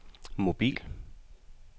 mobil